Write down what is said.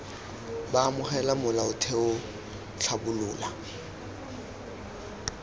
b amogela molaotheo c tlhabolola